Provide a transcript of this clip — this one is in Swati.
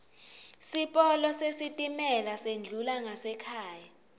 sipolo sesitimela sendlula ngasekhaya